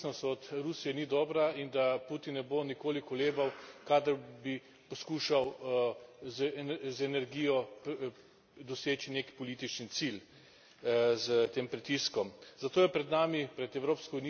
Ve se, da prevelika odvisnost od Rusije ni dobra in da Putin ne bo nikoli kolebal, kadar bi poskušal z energijo doseči nek politični cilj, s tem pritiskom.